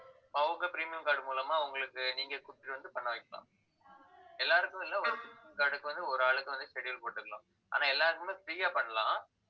ஆஹ் உங்க premium card மூலமா அவங்களுக்கு நீங்க கூட்டிட்டு வந்து பண்ண வைக்கலாம் எல்லாருக்கும் இல்லை ஒரு card க்கு வந்து ஒரு ஆளுக்கு வந்து schedule போட்டுக்கலாம் ஆனா எல்லாருக்குமே free ஆ பண்ணலாம்.